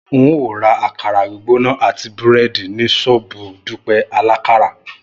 N óò ra àkàrà gbígbóná àti búrẹ́dì ní ṣọ́ọ̀bù Dúpẹ́ alákàrà